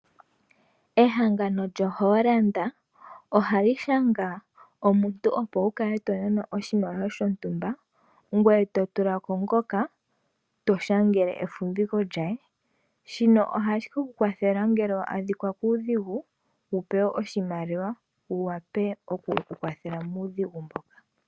Ehangano lyoHolland ohali shanga omuntu opo wu kale tonanwa oshimaliwa shontumba ngweye to tula ko ngoka to shangele efumbiko lye , shino ohashi kukwathela ngele wadhikwa kuudhigu wu pewe oshimaliwa wu wa pe okwiikwathela muudhigu mboka.